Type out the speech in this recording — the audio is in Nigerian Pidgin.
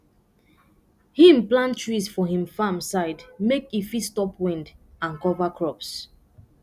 him plant trees for him farm side make e fit stop wind and cover crops